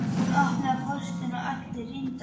Hún opnaði póstinn og allir rýndu á skjáinn.